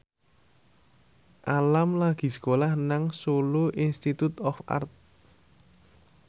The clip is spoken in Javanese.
Alam lagi sekolah nang Solo Institute of Art